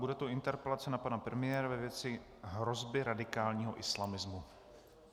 Bude to interpelace na pana premiéra ve věci hrozby radikálního islamismu.